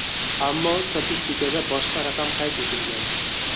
Ammo statistikada boshqa raqam qayd etilgan.